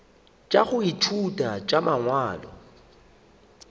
tša go ithuta tša mangwalo